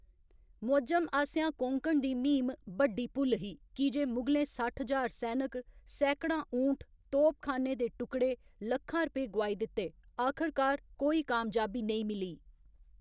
मुअज्जम आसेया कोंकण दी म्हीम बड्डी भुल्ल ही की जे मुगलें सट्ठ ज्हार सैनक, सैकड़ां ऊँट, तोपखाने दे टुकड़े, लक्खां रपे गोआई दित्ते, आखरकार कोई कामयाबी नेईं मिली।